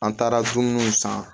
An taara dumuniw san